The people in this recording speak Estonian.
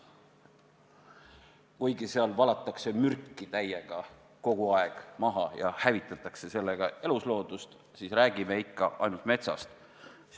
Kuigi seal valatakse mürki kogu aeg maha ja hävitatakse sellega elusloodust, tahame meie nagu rääkida ainult metsast.